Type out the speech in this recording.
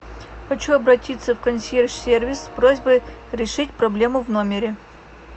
хочу обратиться в консьерж сервис с просьбой решить проблему в номере